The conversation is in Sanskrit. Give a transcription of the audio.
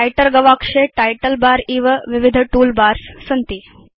व्रिटर गवाक्षे टाइटल बर इव विविध तूल बार्स सन्ति